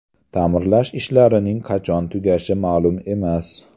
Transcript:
Ta’mirlash ishlarining qachon tugashi ma’lum emas.